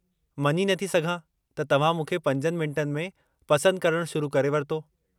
मञी नथी सघां त तव्हां मूंखे 5 मिंटनि में पसंदि करणु शुरु करे वरितो।